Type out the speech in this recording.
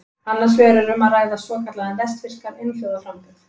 Annars vegar er um að ræða svokallaðan vestfirskan einhljóðaframburð.